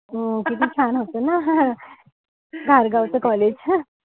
हो किती छान होत ना. हा धारगाव च college.